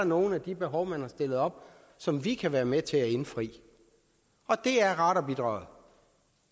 nogle af de behov man har stillet op som vi kan være med til at indfri og det er radarbidraget